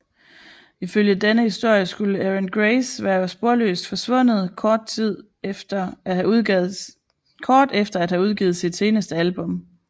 Ifølge denne historie skulle Erin Grace være sporløst forsvundet kort efter at have udgivet sit eneste album